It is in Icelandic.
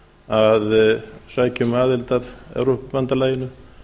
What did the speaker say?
að sækja um aðild að evrópubandalaginu